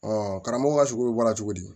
karamɔgɔ ka sugu bɔra cogo di